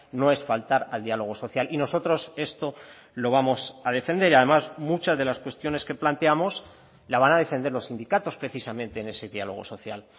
no es faltar al diálogo social y nosotros esto lo vamos a defender además muchas de las cuestiones que planteamos la van a defender los sindicatos precisamente en ese diálogo social